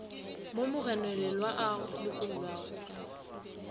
mo mogononelwa a lokollwago ka